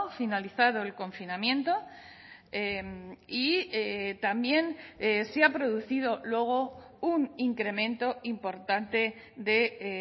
finalizado el confinamiento y y también se ha producido luego un incremento importante de